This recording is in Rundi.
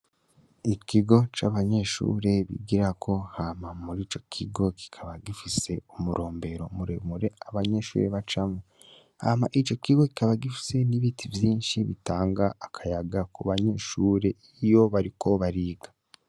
Ikigo c' abanyeshure bigirako hama muri ico kigo kikaba gifise umurombero abanyeshure bacamwo hama ico kigo kikaba gifise n' ibiti vyinshi bitanga akayaga kubanyeshure iyo bariko bariga.